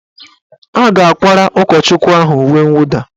A ga-akwara ụkọchukwu ahụ uwe nwụda